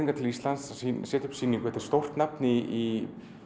til Íslands að setja upp sýningu hún er stórt nafn í